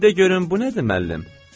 De görüm, bu nədir, müəllim?